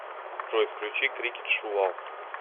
джой включи крикет шувал